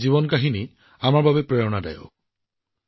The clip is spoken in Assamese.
গলফত স্বৰ্ণ পদক লাভ কৰিছে হাৰিয়ানাৰ ৰণবীৰ ছাইনীয়ে